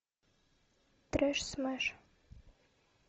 трэш смэш